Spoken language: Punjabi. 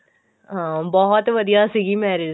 ਹਾਂ ਬਹੁਤ ਵਧੀਆ ਸੀਗੀ marriage